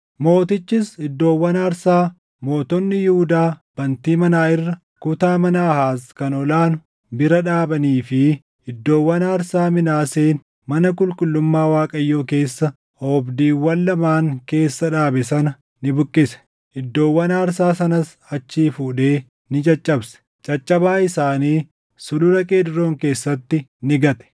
Mootichis iddoowwan aarsaa mootonni Yihuudaa bantii manaa irra, kutaa mana Aahaaz kan ol aanu bira dhaabanii fi iddoowwan aarsaa Minaaseen mana qulqullummaa Waaqayyoo keessa oobdiiwwan lamaan keessa dhaabe sana ni buqqise. Iddoowwan aarsaa sanas achii fuudhee ni caccabsee, caccabaa isaanii Sulula Qeedroon keessatti ni gate.